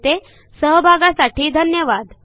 आपल्या सहभागासाठी धन्यवाद